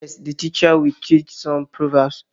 Yes, the teacher would teach some proverbs